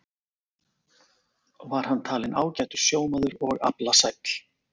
Var hann talinn ágætur sjómaður og aflasæll.